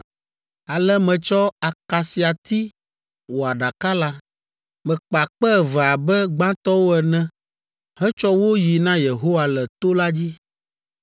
Ale metsɔ akasiati wɔ Aɖaka la. Mekpa kpe eve abe gbãtɔwo ene hetsɔ wo yi na Yehowa le to la dzi.